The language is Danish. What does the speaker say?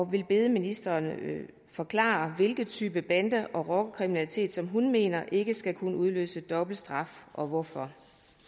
vil bede ministeren forklare hvilken type bande og rockerkriminalitet hun mener ikke skal kunne udløse dobbelt straf og hvorfor